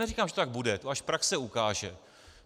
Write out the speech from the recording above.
Neříkám, že to tak bude, to až praxe ukáže.